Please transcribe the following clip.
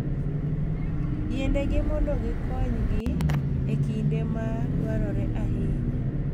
Yienegi mondo gikonygi e kinde ma dwarore ahinya.